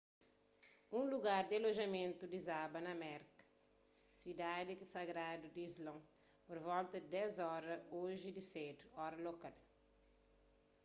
un lugar di alojamentu dizaba na meka sidadi sagradu di islon pur volta di 10 oras oji di sedu ora lokal